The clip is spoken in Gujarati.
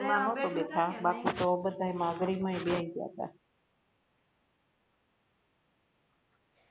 એમા નતો બેઠા બાકી તો બધા મા અઘરી માં એ બેઈ ગયા તા